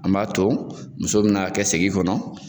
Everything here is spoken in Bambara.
An b'a to muso bi na kɛ segin kɔnɔ